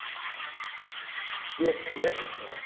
ଅଛି ଆଉ